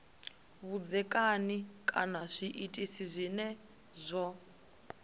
vhudzekani kana zwinwe zwiitisi zwo